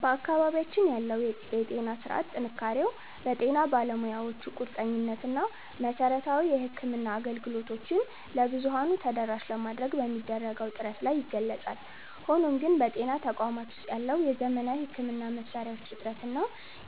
በአካባቢያችን ያለው የጤና ሥርዓት ጥንካሬው በጤና ባለሙያዎቹ ቁርጠኝነት እና መሠረታዊ የሕክምና አገልግሎቶችን ለብዙኃኑ ተደራሽ ለማድረግ በሚደረገው ጥረት ላይ ይገለጻል። ሆኖም ግን፣ በጤና ተቋማት ውስጥ ያለው የዘመናዊ ሕክምና መሣሪያዎች እጥረት እና